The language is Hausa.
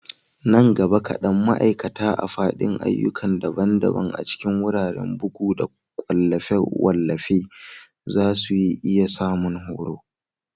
Nan gaba kadan, ma'aikata a fadin ayyuka daban-daban a cikin wuraren bugu da wallafe-wallafe za su iya samun horo.